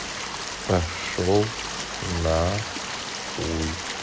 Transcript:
пошёл на хуй